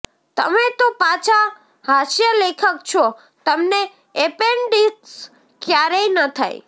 તમે તો પાછા હાસ્યલેખક છો તમને એપેન્ડિક્સ ક્યારેય ન થાય